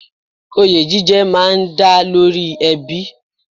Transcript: Oyè jíjẹ má a ń dá lórí ẹbí